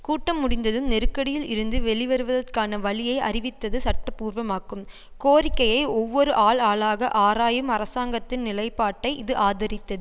கூட்டம் முடிந்ததும் நெருக்கடியில் இருந்து வெளிவருவதற்கான வழியை அறிவித்தது சட்டப்பூர்வமாக்கும் கோரிக்கையை ஒவ்வொரு ஆள் ஆளாக ஆராயும் அரசாங்கத்தின் நிலைப்பாட்டை இது ஆதரித்தது